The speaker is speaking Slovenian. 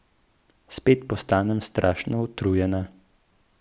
Spet postanem strašno utrujena.